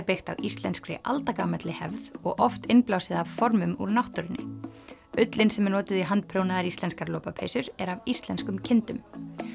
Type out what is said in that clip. byggt á íslenskri aldagamalli hefð og oft innblásið af formum úr náttúrunni ullin sem er notuð í handprjónaðar íslenskar lopapeysur er af íslenskum kindum